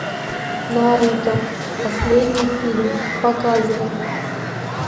наруто последний фильм показывай